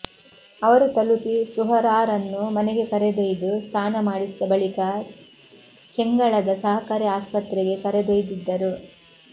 ಅವರು ತಲುಪಿ ಸುಹರಾರನ್ನು ಮನೆಗೆ ಕರೆದೊಯ್ದು ಸ್ನಾನ ಮಾಡಿಸಿದ ಬಳಿಕ ಚೆಂಗಳದ ಸಹಕಾರಿ ಆಸ್ಪತ್ರೆಗೆ ಕರೆದೊಯ್ದಿದ್ದರು